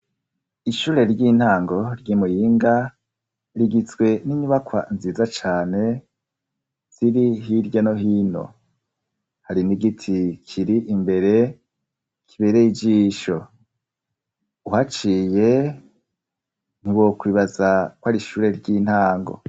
Ishure ry'intango ry'i muyinga rigitzwe n'inyubakwa nziza cane, ziri hirya no hino hari nigiti kiri imbere kibere y'igyisho uhaciye nti wo kbibaza kwari ishure ry'intango.